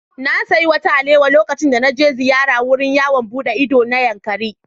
Na sayi wata alewa lokacin da na je ziyara wurin yawon buɗe ido na Yankari.